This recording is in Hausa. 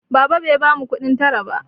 Baba bai bamu kuɗin tara ba.